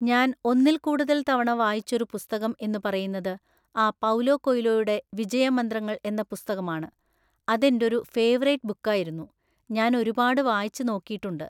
ഞാൻ ഒന്നിൽ കൂടുതൽ തവണ വായിച്ചൊരു പുസ്തകo എന്ന് പറയുന്നത് ആ പൗലോ കൊയ്ലോയുടെ വിജയമന്ത്രങ്ങൾ എന്ന പുസ്‌തകമാണ്. അതെൻ്റൊരൂ ഫേവറേറ്റ് ബുക്കായിരുന്നു. ഞാനൊരുപാട് വായിച്ച് നോക്കീട്ടുണ്ട്.